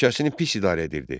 Ölkəsini pis idarə edirdi.